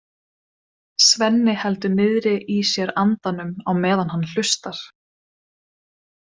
Svenni heldur niðri í sér andanum á meðan hann hlustar.